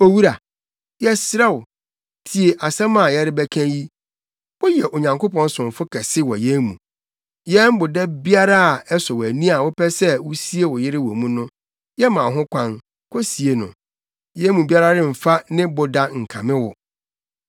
“Owura, yɛsrɛ wo, tie asɛm a yɛrebɛka yi. Woyɛ Onyankopɔn somfo kɛse wɔ yɛn mu. Yɛn boda biara a ɛsɔ wʼani a wopɛ sɛ wusie wo yere wɔ hɔ no, yɛma wo ho kwan, kosie no. Yɛn mu biara remfa ne boda nkame wo.”